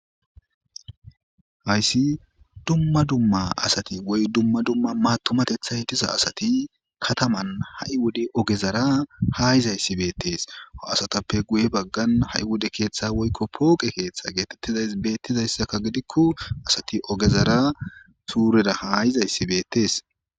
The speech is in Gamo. hayssi dumma dumma asati woy dumma dumma maatumatetha hitisa asati kataman ha7i wode ogezara ha yizayssi beettees ho asatappe guye baggan ha7i wode keeththa woykko pooqe keeththa geetettizays beettizayssakka gidikko asati ogezara suurera haayizayssi beettees